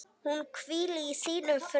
Hún hvíli í þínum friði.